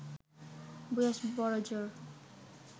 বয়স বড়জোর